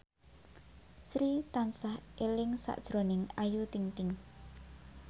Sri tansah eling sakjroning Ayu Ting ting